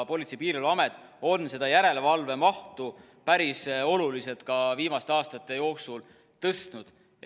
Politsei- ja Piirivalveamet on seda järelevalve mahtu päris oluliselt ka viimaste aastate jooksul tõstnud.